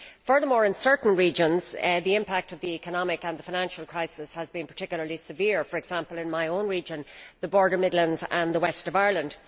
Furthermore, in certain regions the impact of the economic and the financial crisis has been particularly severe, for example in my own region, the Border, Midlands and West of Ireland.